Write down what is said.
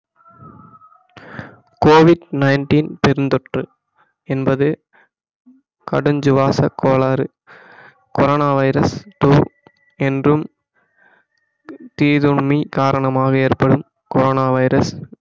COVID-19 பெருந்தொற்று என்பது கடுஞ்சுவாசக் கோளாறு கொரோனா வைரஸ் two என்றும் தீதுண்ணி காரணமாக ஏற்படும் கொரோனா வைரஸ்